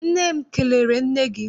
Nne m kelere nne gị.